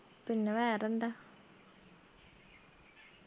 പിന്നെ വേറെന്താ